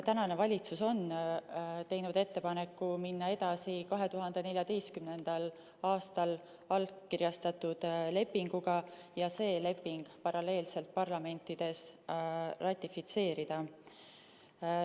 Eesti valitsus on teinud ettepaneku minna edasi 2014. aastal allkirjastatud lepinguga ja see parlamentides paralleelselt ratifitseerida.